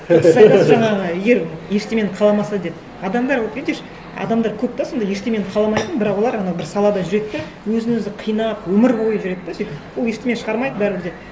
дұрыс айтасыз жаңағы егер ештеңені қаламаса деп адамдар вот видишь адамдар көп те сондай ештеңені қаламайтын бірақ олар анау бір салада жүреді де өзін өзі қинап өмір бойы жүреді де сөйтіп ол ештеңе шығармайды бәрібір де